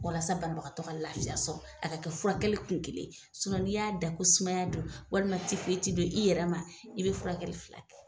Walasa banibagatɔ ka lafiya sɔr a ka kɛ furakɛli kun kelen n'i y'a da ko sumaya don walima tifoyiti don i yɛrɛ ma i be furakɛli fila kɛ.